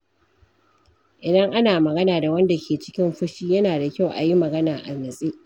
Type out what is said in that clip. Idan ana magana da wanda ke cikin fushi, yana da kyau a yi magana a nutse.